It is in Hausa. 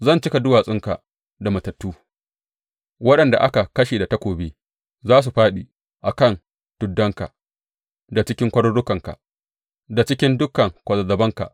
Zan cika duwatsunka da matattu; waɗanda aka kashe da takobi za su fāɗi a kan tuddanka, da cikin kwarurukanka, da cikin dukan kwazazzabanka.